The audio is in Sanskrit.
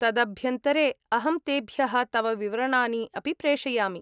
तदभ्यन्तरे, अहं तेभ्यः तव विवरणानि अपि प्रेषयामि।